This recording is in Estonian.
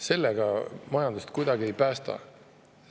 Sellega majandust kuidagi ei päästa.